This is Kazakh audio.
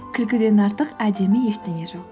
күлкіден артық әдемі ештеңе жоқ